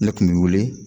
Ne kun bɛ wele